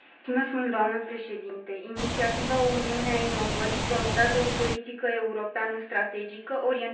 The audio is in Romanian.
Inițiativa O Uniune a inovării promovează o politică europeană strategică, orientată spre întreprinderi.